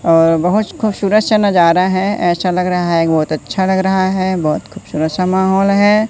और बहोत खुबसूरत नजारा है ऐसा लग रहा है एक बहोत अच्छा लग रहा है बहोत खूबसूरत सा माहौल हो--